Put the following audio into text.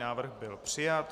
Návrh byl přijat.